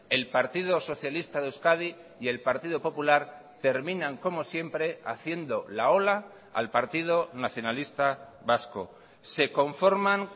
el partido socialista de euskadi y el partido popular terminan como siempre haciendo la ola al partido nacionalista vasco se conforman